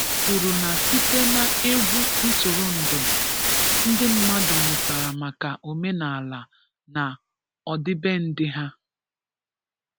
kwuru na site na egwu ntụrụndụ, ndị mmadụ mụtara maka omenala na ọdịbendị ha.